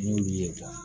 N'i y'u ye